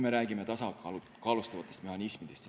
Me räägime tasakaalustavatest mehhanismidest.